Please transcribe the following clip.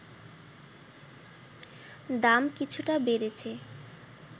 দাম কিছুটা বেড়েছে